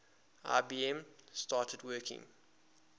ibm started working